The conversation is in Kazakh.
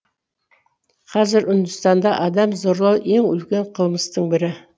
қазір үндістанда адам зорлау ең үлкен қылмыстың бірі